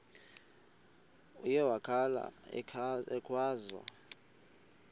uye wakhala ekhwaza